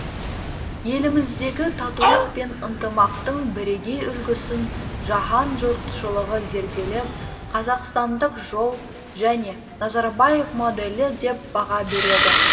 еліміздегі татулық пен ынтымақтың бірегей үлгісін жаһан жұртшылығы зерделеп қазақстандық жол және назарбаев моделі деп баға береді